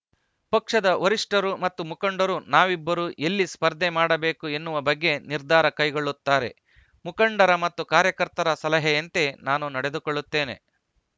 ಪಕ್ಷದ ವರಿಷ್ಠರು ಮತ್ತು ಮುಖಂಡರು ನಾವಿಬ್ಬರು ಎಲ್ಲಿ ಸ್ಪರ್ಧೆ ಮಾಡಬೇಕು ಎನ್ನುವ ಬಗ್ಗೆ ನಿರ್ಧಾರ ಕೈಗೊಳ್ಳುತ್ತಾರೆ ಮುಖಂಡರ ಮತ್ತು ಕಾರ್ಯಕರ್ತರ ಸಲಹೆಯಂತೆ ನಾನು ನಡೆದುಕೊಳ್ಳುತ್ತೇನೆ